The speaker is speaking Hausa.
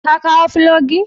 Ka kawo filogi?